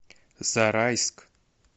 зарайск